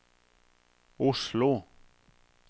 Oslo